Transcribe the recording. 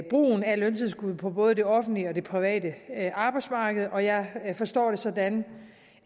brugen af løntilskud på både det offentlige og det private arbejdsmarked og jeg forstår det sådan